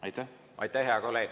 Aitäh, hea kolleeg!